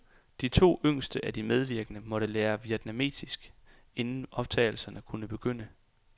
De to yngste af de medvirkende måtte lære vietnamesisk, inden optagelserne kunne begynde.